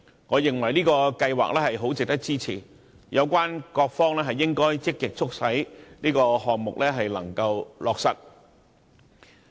我認為這個計劃很值得支持，有關各方應積極促成此項目。